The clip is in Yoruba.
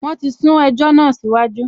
Wọ́n ti sún ẹjọ́ náà síwájú